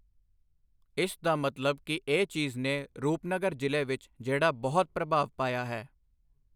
ਇਸ ਦਾ ਮਤਲਬ ਕਿ ਇਸ ਚੀਜ਼ ਨੇ ਰੂਪਨਗਰ ਜ਼ਿਲ੍ਹੇ ਵਿੱਚ ਜਿਹੜਾ ਬਹੁਤ ਪ੍ਰਭਾਵ ਪਾਇਆ ਹੈ।